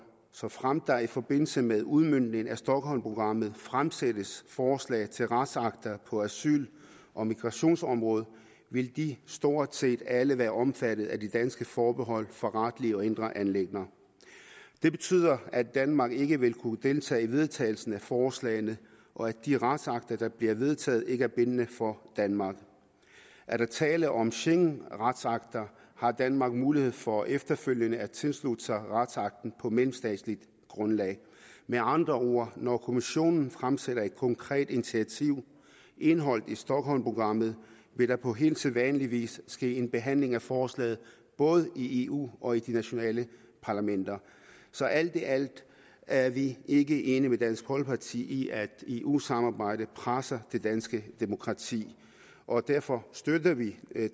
såfremt der i forbindelse med udmøntningen af stockholmprogrammet fremsættes forslag til retsakter på asyl og migrationsområdet vil de stort set alle være omfattet af de danske forbehold for retlige og indre anliggender det betyder at danmark ikke vil kunne deltage i vedtagelsen af forslagene og at de retsakter der bliver vedtaget ikke er bindende for danmark er der tale om schengenretsakter har danmark mulighed for efterfølgende at tilslutte sig retsakten på mellemstatsligt grundlag med andre ord når kommissionen fremsætter et konkret initiativ indeholdt i stockholmprogrammet vil der på helt sædvanlig vis ske en behandling af forslaget både i eu og i de nationale parlamenter så alt i alt er vi ikke enige med dansk folkeparti i at eu samarbejdet presser det danske demokrati og derfor støtter vi